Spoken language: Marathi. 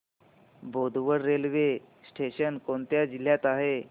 बोदवड रेल्वे स्टेशन कोणत्या जिल्ह्यात आहे